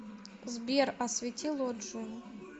сбер освети лоджию